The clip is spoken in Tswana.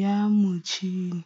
ya motšhine.